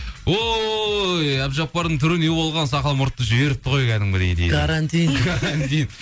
ой әбдіжаппардың түрі не болған сақал мұртты жіберіпті ғой кәдімгідей дейді карантин карантин